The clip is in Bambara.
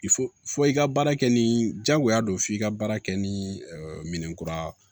I fɔ i ka baara kɛ ni jagoya don f'i ka baara kɛ ni minɛnkura